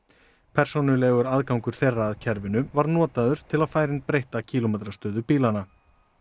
persónulegur aðgangur þeirra að kerfinu var notaður til að færa inn breytta kílómetrastöðu bílanna